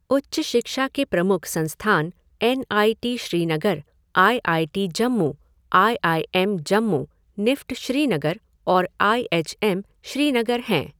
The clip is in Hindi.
उच्च शिक्षा के प्रमुख संस्थान N I T Srinagar, I I T Jammu, I I M. Jammu, NIFT Srinagar और आई एच एम श्रीनगर हैं।